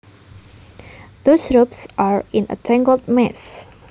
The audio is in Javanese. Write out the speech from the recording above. Those ropes are in a tangled mess